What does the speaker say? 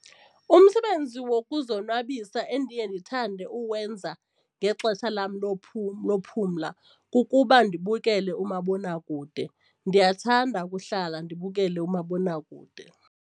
Umsebenzi wokuzonwabisa endiye ndithande uwenza ngexesha lam lokuphumla kukuba ndibukele umabonakude, ndiyathanda ukuhlala ndibukele umabonakude.